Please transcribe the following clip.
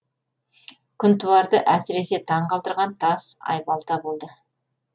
күнтуарды әсіресе таң қалдырған тас айбалта болды